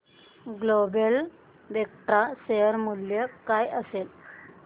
global Vectra share चे मूल्य काय असेल